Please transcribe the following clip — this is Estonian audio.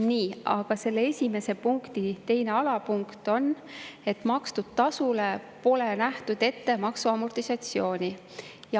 Nii, aga selle esimese punkti teine alapunkt on, et makstud tasule pole nähtud ette maksu amortisatsiooni.